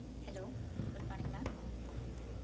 hello good morning ma'am